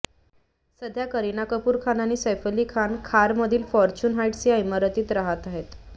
सध्या करीना कपूर खान आणि सैफ अली खान खारमधील फॉर्च्युन हाईट्स या इमारतीत राहत आहेत